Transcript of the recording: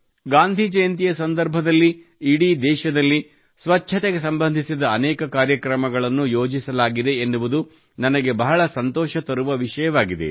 ಗಾಂಧಿ ಜಯಂತಿಯ ಸಂದರ್ಭದಲ್ಲಿ ಇಡೀ ದೇಶದಲ್ಲಿ ಸ್ವಚ್ಛತೆಗೆ ಸಂಬಂಧಿಸಿದ ಅನೇಕ ಕಾರ್ಯಕ್ರಮಗಳನ್ನು ಯೋಜಿಸಲಾಗಿದೆ ಎನ್ನುವುದು ನನಗೆ ಬಹಳ ಸಂತೋಷ ತರುವ ವಿಷಯವಾಗಿದೆ